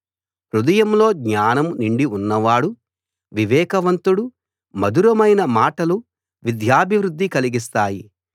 హృదయంలో జ్ఞానం నిండి ఉన్నవాడు వివేకవంతుడు మధురమైన మాటలు విద్యాభివృద్ది కలిగిస్తాయి